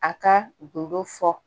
A ka gindo fɔ